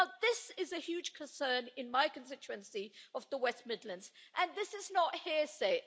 Now this is a huge concern in my constituency of the West Midlands, and this is not hearsay.